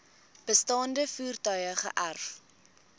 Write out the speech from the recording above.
bestaande voertuie geërf